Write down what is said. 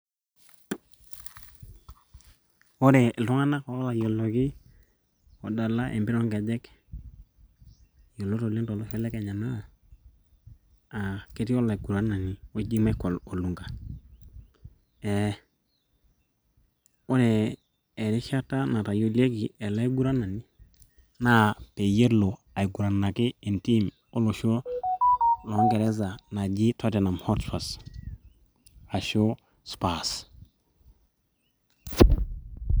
Ore iltung'anak ootayioloki oodala empira oonkejek yiolot oleng tolosho le kenya naa ketii olaiguranani oni Michael Olunga ee ore erishata natoyioleki ele aiguranani naa peyielo aiguranaki entiim olosho loonkeresa naji Tottenham hot spurs ashuu spurs.